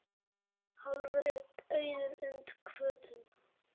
Hálfur er auður und hvötum.